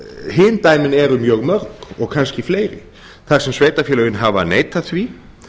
hin dæmin eru mjög mörg og kannski fleiri þar sem sveitarfélögin hafa neitað því